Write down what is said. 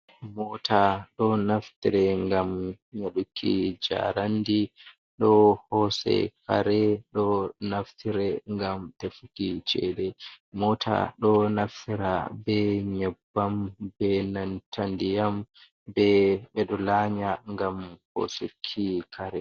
Mota do naftire ngam nyaduki jarandi ɗo hose kare ɗo naftire ngam tefuki chede mota ɗo naftira be nyebbam be nanta ndiyam be ɗo lanya ngam hosuki kare.